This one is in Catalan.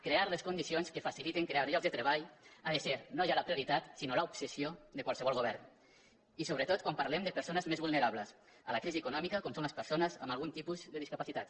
crear les condicions que facilitin crear llocs de treball ha de ser no ja la prioritat sinó l’obsessió de qualsevol go·vern i sobretot quan parlem de persones més vulne·rables a la crisi econòmica com són les persones amb algun tipus de discapacitat